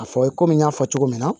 A fɔ ye komi n y'a fɔ cogo min na